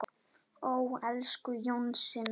Ó, elsku Jónsi minn.